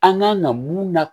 An kan ka mun na